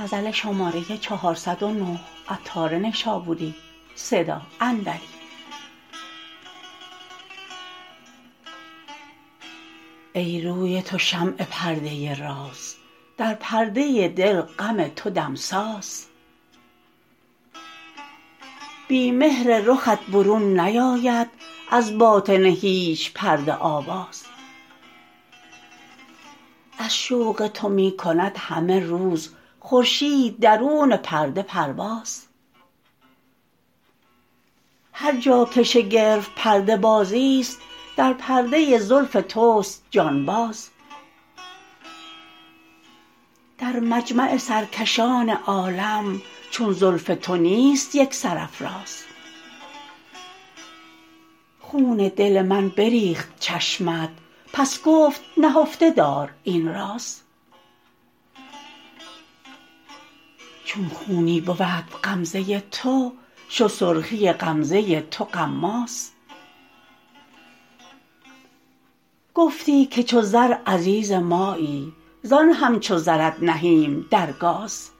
ای روی تو شمع پرده راز در پرده دل غم تو دمساز بی مهر رخت برون نیاید از باطن هیچ پرده آواز از شوق تو می کند همه روز خورشید درون پرده پرواز هر جا که شگرف پرده بازی است در پرده زلف توست جان باز در مجمع سرکشان عالم چون زلف تو نیست یک سرافراز خون دل من بریخت چشمت پس گفت نهفته دار این راز چون خونی بود غمزه تو شد سرخی غمزه تو غماز گفتی که چو زر عزیز مایی زان همچو زرت نهیم در گاز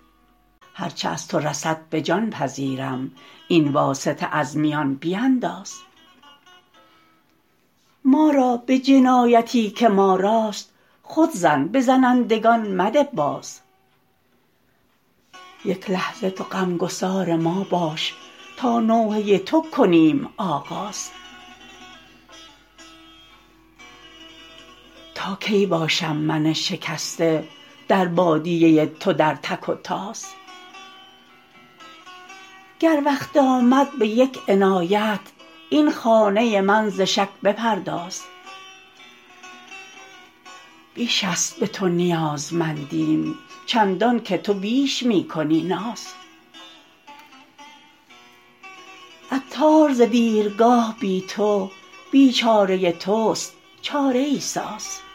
هرچه از تو رسد به جان پذیرم این واسطه از میان بینداز ما را به جنایتی که ما راست خود زن به زنندگان مده باز یک لحظه تو غمگسار ما باش تا نوحه تو کنیم آغاز تا کی باشم من شکسته در بادیه تو در تک و تاز گر وقت آمد به یک عنایت این خانه من ز شک بپرداز بیش است به تو نیازمندیم چندان که تو بیش می کنی ناز عطار ز دیرگاه بی تو بیچاره توست چاره ای ساز